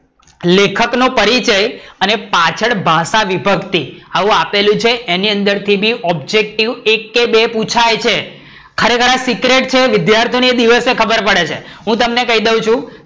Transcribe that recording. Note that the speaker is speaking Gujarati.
લેખક નો પરિચય અને પાછળ ભાષાવિભક્તિ આવું આપેલું છે એની અંદર થી બી objective એક કે બે બી પુછાય છે ખરેખર આ secret છે વિદ્યાર્થીઓ ને એ દિવસે ખબર પડે છે હું તમને કઈ દઉં છું